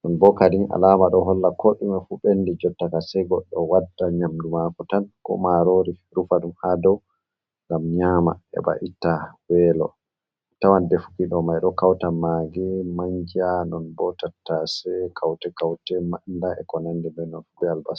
ɗum bo kadin alama ɗon hollaa ko ɗumee ɓendi jottakam, sai goɗɗo wadda nyamdu mako tan, ko marori rufaɗum ha dow ngam nyama. Heɓa itta welo tawan deefuki ɗo mai ɗo kauta e maagi, manjaa, nonbo tattasai, kaute, kaute manda, eko nandi be non, be albasa.